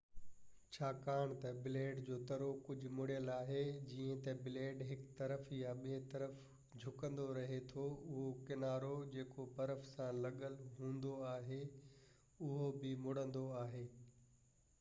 ڇاڪاڻ ته بليڊ جو ترو ڪجهه مڙيل آهي جئين ته بليڊ هڪ طرف يا ٻئي طرف جهڪندو رهي ٿو اهو ڪنارو جيڪو برف سان لڳل هوندو آهي اهو به مڙندو آهي